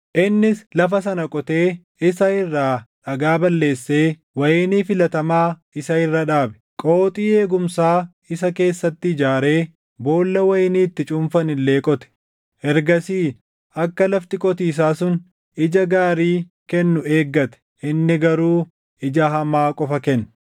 Innis lafa sana qotee isa irraa dhagaa balleessee wayinii filatamaa isa irra dhaabe. Qooxii eegumsaa isa keessatti ijaaree boolla wayinii itti cuunfan illee qote. Ergasii akka lafti qotiisaa sun ija gaarii kennu eeggate; inni garuu ija hamaa qofa kenne.